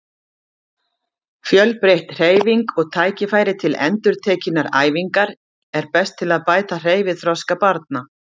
Fjölbreytt hreyfing og tækifæri til endurtekinnar æfingar er best til að bæta hreyfiþroska barna.